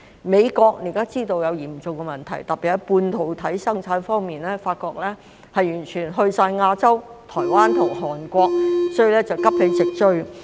美國現時知道出現了嚴重的問題，特別是發覺半導體生產已完全遷移到亞洲的台灣及韓國，所以要急起直追。